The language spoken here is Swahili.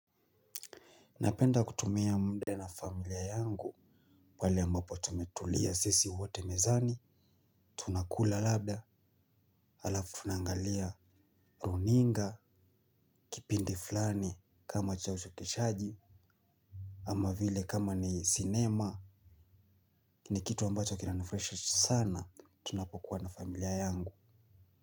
Napenda kutumia mda na familia yangu. Wale ambapo tumetulia sisi wote mezani. Tunakula labda alafu tunangalia runinga kipindi fulani kama chauchokeshaji. Ama vile kama ni sinema ni kitu ambacho kinanufraisha sana tunapokuwa na familia yangu.